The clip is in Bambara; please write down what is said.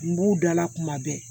N b'u dala kuma bɛɛ